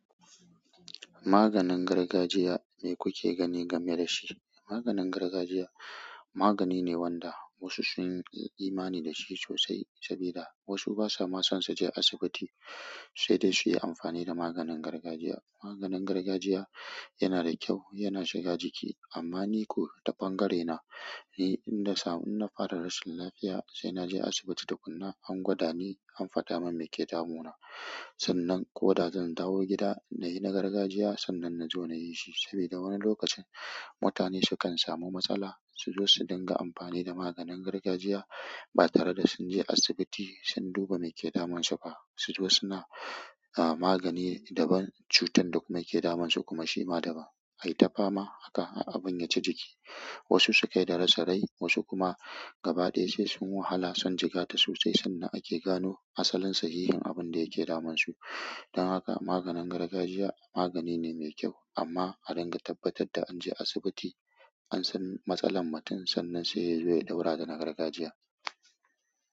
Maganin gargajiya, me kuke gani game da shi? Maganin gargajiya magani ne wanda wasu sun yi imani da shi sosai, saboda wasu basa ma son su je asibiti, sai dai su yi amfani da maganin gargajiya. Maganin gargajiya yana da kyau, yana shiga jiki, amma ni ko ta ɓangarena, in na samu na fara rashin lafiya, sai na je asibiti da kunne, an gwada ni, an faɗa min me ke damuna. Sannan ko da zan dawo gida na yi na gargajiya, sannan na zo na yi shi. Sabida wani lokacin mutane sukan samu matsala su zo su dinga amfani da maganin gargajiya ba tare da sun je asibiti sun duba me ke damun su ba su zo suna, ah, magani daban, cutar da kuma ke damunsu kuma shi ma daban. Ai ta fama haka har abun ya ci jiki. Wasu su kai ga rasa rai wasu kuma gaba ɗaya sai sun wahala sun jigata sosai sannan ake gano asalin sahihin abinda yake damun su dan haka maganin gargajiya magani ne mai kyau, amma a dinga tabbatar da an je asibiti, an san matsalar mutum sannan sai ya zo ya ɗaura da na gargajiya.